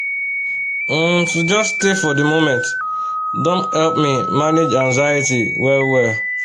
um to just stay for the moment don help me manage anxiety well-wel